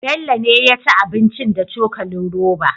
Bello ne yaci abincin da cokalin roba